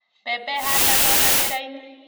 Mbembe ihandagwo na mĩraini.